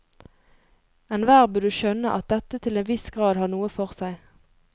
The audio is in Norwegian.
Enhver burde skjønne at dette til en viss grad har noe for seg.